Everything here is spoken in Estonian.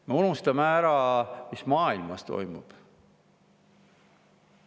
Me unustame ära, mis maailmas toimub.